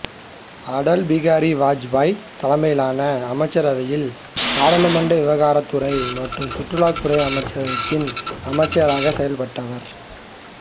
அடல் பிகாரி வாஜ்பாய் தலைமையிலான அமைச்சரவையில் நாடாளுமன்ற விவகாரத் துறை மற்றும் சுற்றுலா அமைச்சகத்தின் அமைச்சராக செயல்பட்டவர்